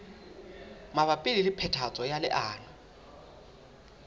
mabapi le phethahatso ya leano